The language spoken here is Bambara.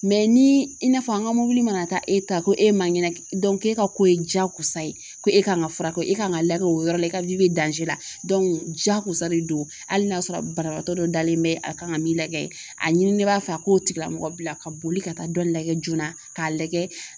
ni i na fɔ an ka mɔbili mana taa e ta ko e man kɛnɛ e ka ko ye jakosa ye ko e ka kan ka fura kɛ e kan ka lagɛ o yɔrɔ la i ka la jakosa de don hali n'a sɔrɔ banabaatɔ dɔ dalen bɛ a kan ka min lajɛ a ɲini b'a fɛ a k'o tigilamɔgɔ bila ka boli ka taa dɔ lajɛ joona k'a lajɛ